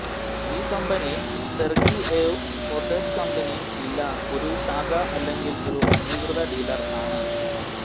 ഈ company Sergiev Posad company ഇല്ല ഒരു ശാഖ അല്ലെങ്കിൽ ഒരു അംഗീകൃത ഡീലർ ആണ്